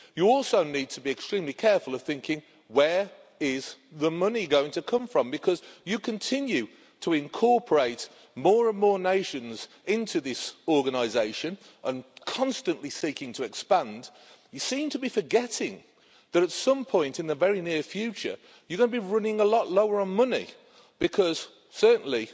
You also need to be extremely careful of thinking, where is the money going to come from, because you continue to incorporate more and more nations into this organisation and, constantly seeking to expand, you seem to be forgetting that at some point in the very near future you're going to be running a lot lower on money because certainly